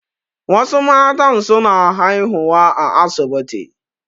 Wasu matan su na haihuwa a asibiti